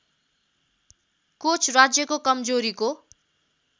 coach राज्यको कमजोरीको